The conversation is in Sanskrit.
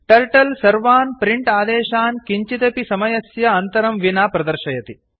टर्टल सर्वान् प्रिंट आदेशान् किञ्चिदपि समयस्य अन्तरं विना प्रदर्शयति